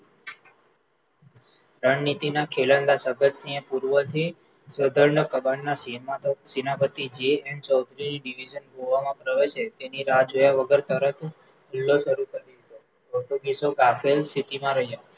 રણનીતિના સેનાપતિ જે એન ગોવામાં પ્રવેશે તેની રાહ જોયા વગર તરત હુમલો શરુ કરી દીધો પોર્તુગીસો કાફેલ સ્થતિમાં રહ્યા